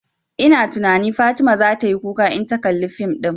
Ina tunani Fatima zata yi kuka in ta kalla fim ɗin